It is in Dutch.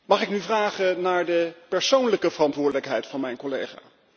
Mag ik vragen naar de persoonlijke verantwoordelijkheid van mijn collega?